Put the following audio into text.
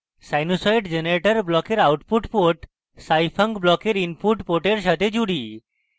sinusoid generator ব্লকের output port scifunc ব্লকের input port সাথে জুড়ি